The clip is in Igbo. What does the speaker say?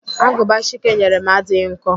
Agụba Chike nyere m adịghị nkọ